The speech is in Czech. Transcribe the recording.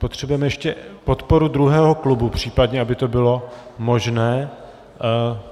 Potřebujeme ještě podporu druhého klubu případně, aby to bylo možné.